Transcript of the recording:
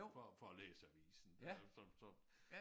For for at læse avisen øh så så